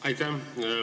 Aitäh!